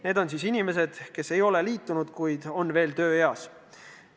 Need on inimesed, kes seni ei ole liitunud, kuid on veel tööealised.